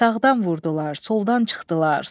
Sağdan vurdular, soldan çıxdılar.